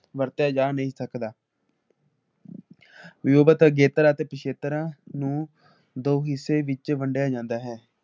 ਵਰਤਿਆ ਜਾ ਨਹੀਂ ਸਕਦਾ ਜੁਵਤ ਅਗੇਤਰਾ ਅਤੇ ਪਿਛੇਤਰਾ ਨੂੰ ਦੋ ਹਿੱਸੇ ਵਿੱਚ ਵੰਡਿਆ ਜਾਂਦਾ ਹੈ ।